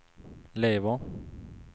lever